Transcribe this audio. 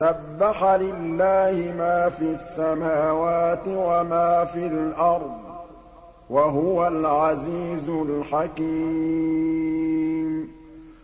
سَبَّحَ لِلَّهِ مَا فِي السَّمَاوَاتِ وَمَا فِي الْأَرْضِ ۖ وَهُوَ الْعَزِيزُ الْحَكِيمُ